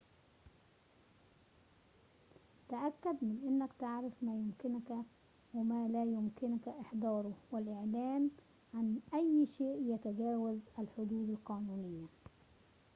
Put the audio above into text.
تأكد من أنك تعرف ما يمكنك وما لا يمكنك إحضاره والإعلان عن أي شيء يتجاوز الحدود القانونية